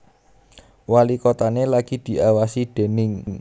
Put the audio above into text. Walikotané lagi diawasi déning